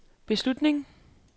beslutning